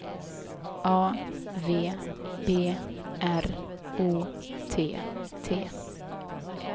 A V B R O T T